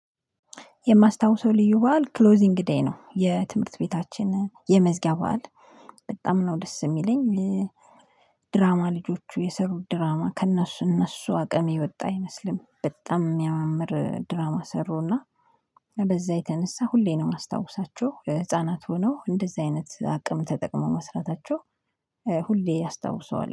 የማስታውሰው ልዩ በዓል ክሎዚንግ ዴይ ነው። የትምህርት ቤታችን የመዝጊያ በዓል በጣም ነው ደስ እሚለኝ። ድራማ ልጆቹ የሰሩት ድራማ ከእነሱ እነሱ አቅም የወጣ አይመስልም። በጣም ሚያመምር ድራማ ሰሩ እና ድራማ ልጆቹ የሰሩት ድራማ ከእነሱ እነሱ አቅም የወጣ አይመስልም። በጣም ሚያምር ድራማ ሰሩ እና